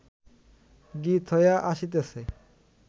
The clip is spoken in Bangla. গীত হইয়া আসিতেছে